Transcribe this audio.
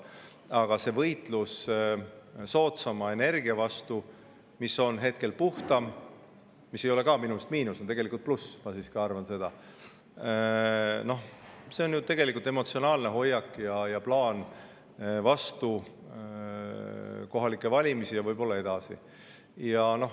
Aga see võitlus soodsama energia vastu, mis on ka puhtam – see ei ole minu meelest miinus, see on tegelikult pluss, ma siiski arvan –, on ju tegelikult emotsionaalne hoiak ja plaan kohalike valimiste eel ja võib-olla ka edasi.